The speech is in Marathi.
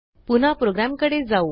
पुन्हा प्रोग्रॅमकडे जाऊ